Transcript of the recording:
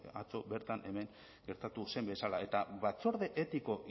atzo bertan hemen gertatu zen bezala eta batzorde etiko